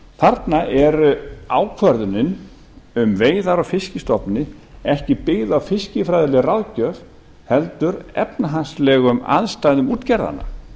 þarna er ákvörðunin um veiðar úr fiskstofna ekki byggð á fiskifræðilegri ráðgjöf heldur efnahagslegum aðstæðum útgerðanna